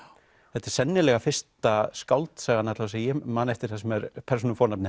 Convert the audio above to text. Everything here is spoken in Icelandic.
þetta er sennilega fyrsta skáldsagan alla vega sem ég man eftir þar sem persónufornafnið